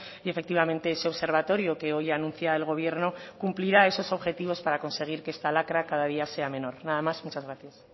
y efectivamente ese observatorio que hoy anuncia el gobierno cumplirá esos objetivos para conseguir que esta lacra cada día sea menor nada más muchas gracias